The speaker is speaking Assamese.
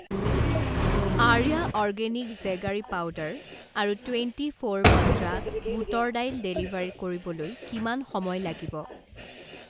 আৰ্য়া অৰ্গেনিক জেগাৰী পাউদাৰ আৰু টুৱেণ্টি ফ'ৰ মন্ত্ৰা বুটৰ দাইল ডেলিভাৰ কৰিবলৈ কিমান সময় লাগিব?